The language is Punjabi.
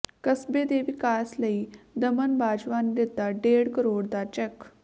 ਕਸਬੇ ਦੇ ਵਿਕਾਸ ਲਈ ਦਮਨ ਬਾਜਵਾ ਨੇ ਦਿੱਤਾ ਡੇਢ ਕਰੋੜ ਦਾ ਚੈੱਕ